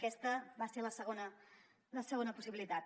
aquesta va ser la segona la segona possibilitat